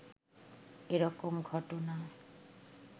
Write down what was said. এ রকম ঘটনা